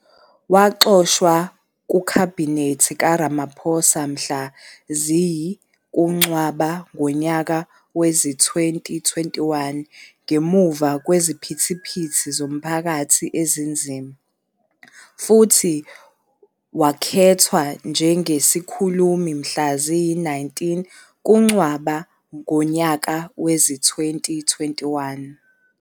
Waxoshwa kuKhabhinethi kaRamaphosa mhla ziyi- KuNcwaba ngonyaka wezi-2021 ngemuva kweziphithiphithi zomphakathi ezinzima, futhi wakhethwa njengesikhulumi mhla ziyi-19 kuNcwaba ngonyaka wezi- 2021.